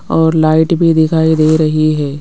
और लाइट भी दिखाई दे रही है।